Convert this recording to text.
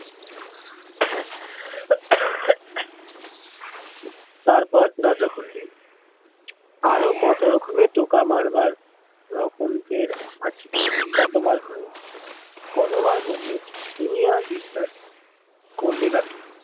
তারপর দরজা খুলবি। আরো কত রকমমের টোকা মারবার রকম ফের আছে। কতবার হয়েছে, কতবার বদলেছে। দুনিয়ায় বিশ্বাস করবি কাকে?